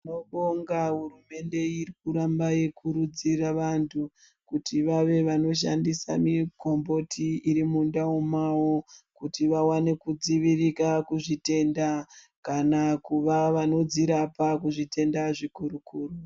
Tinobonga hurumende iri kuramba yeikurudzira vantu kuti vave vanoshandisa mikomboti iri mundau mawo kuti vawane kudziwiririka kuzvitenda kana kuvawandudzira pazvitenda zvikuru kuru.